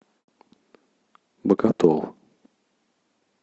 боготол